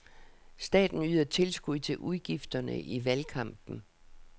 Staten yder tilskud til udgifterne i valgkampen.